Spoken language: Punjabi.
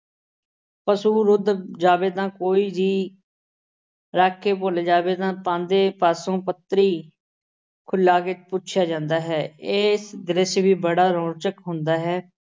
ਪਸ਼ੂ ਦੁੱਧ ਤੋਂ ਜਾਵੇ ਜਾਂ ਕੋਈ ਵੀ ਰੱਖ ਕੇ ਭੁੱਲ ਜਾਵੇ ਤਾਂ ਪਾਂਧੇ ਪਾਸੋਂ ਪੱਤਰੀ ਖੁਲ੍ਹਾ ਕੇ ਪੁੱਛਿਆ ਜਾਂਦਾ ਹੈ। ਇਹ ਦ੍ਰਿਸ਼ ਵੀ ਬੜਾ ਰੌਚਕ ਹੁੰਦਾ ਹੈ।